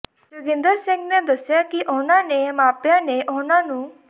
ਜੋਗਿੰਦਰ ਸਿੰਘ ਨੇ ਦਸਿਆ ਕਿ ਉਹਨਾਂ ਨੇ ਮਾਪਿਆਂ ਨੇ ਉਹਨਾਂ ਨੂੰ